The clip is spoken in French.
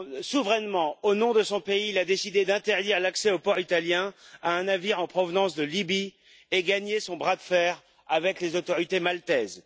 Souverainement, au nom de son pays, il a décidé d'interdire l'accès aux ports italiens à un navire en provenance de Libye et gagné son bras de fer avec les autorités maltaises.